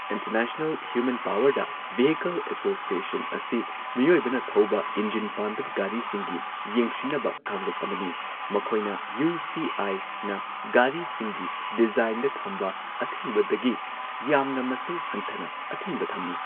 International human powered vehicle association ꯑꯁꯤ ꯃꯤꯑꯣꯢꯕꯅ ꯊꯧꯕ ꯏꯟꯖꯤꯟ ꯄꯥꯟꯗꯕ ꯒꯥꯔꯤꯁꯤꯡꯒꯤ ꯌꯦꯡꯁꯤꯟꯅꯕ ꯀꯥꯡꯂꯨꯞ ꯑꯃꯅꯤ , ꯃꯈꯣꯢꯅ ꯌꯨ꯬ ꯁꯤ꯬ ꯑꯥꯢ꯬ ꯅ ꯒꯥꯔꯤꯁꯤꯡꯒꯤ ꯗꯤꯖꯥꯢꯟꯗ ꯊꯝꯕ ꯑꯊꯤꯡꯕꯗꯒꯤ ꯌꯥꯝꯅ ꯃꯁꯤꯡ ꯍꯟꯊꯅ ꯑꯊꯤꯡꯕ ꯊꯝꯃꯤ꯫